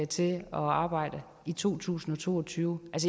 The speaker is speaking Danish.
til at arbejde i 2022